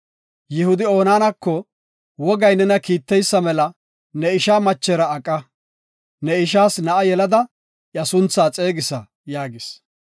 Yihudi Onaanako, “Wogay nena kiiteysa mela ne ishaa machera aqa. Ne ishaas na7a yelada iya suntha xeegisa” yaagis.